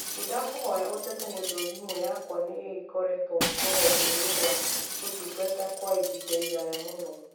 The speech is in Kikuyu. Nĩndakũhoya ũteta nĩ tondũ thimũ yakwa nĩ ĩkoretwo rũhonge inĩ rwa ũtungata kwa ihinda iraya mũno.